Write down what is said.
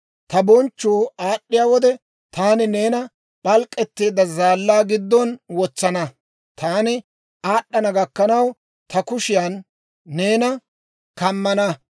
Ta bonchchu aad'd'iyaa wode, taani neena p'alk'k'etteedda zaallaa giddon wotsana; Taani aad'ana gakkanaw, ta kushiyaan neena kammana.